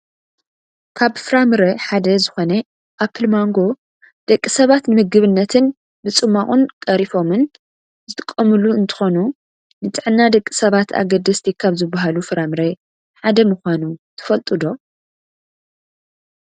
ካብ ፍራምረ ሓደ ዝኮነ ኣፕል ማንጎ ደቂ ሰባት ንምግብነት ብፅሟቅን ቀሪፎምን ዝጥቀምሉ እንትኮኑ ንጥዕና ደቂ ሰባት ኣገደስቲ ካብ ዝባሃሉ ፍራምረ ሓደ ምኳኑ ትፈልጡ ዶ ?